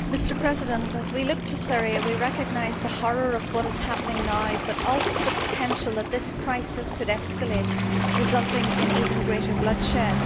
Mr President, as we look to Syria we recognise the horror of what is happening now but also the potential that this crisis could escalate, resulting in even greater bloodshed.